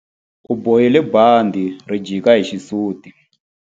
U bohile bandhi ri jika hi xisuti.